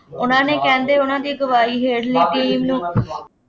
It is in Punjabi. ਉਹਨਾ ਨੇ ਕਹਿੰਦੇ, ਉਹਨਾ ਦੀ ਅਗਵਾਈ ਹੇਠਲੀ ਟੀਮ ਨੂੰ